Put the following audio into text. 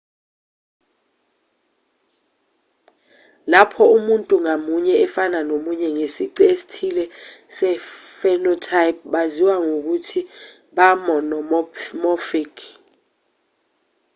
lapho umuntu ngamunye efana nomunye ngesici esithile se-phenotype baziwa ngokuthi ba-monomorphic